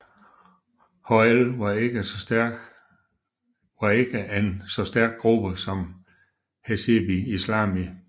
HII var ikke en så stærk gruppe som Hezbi Islami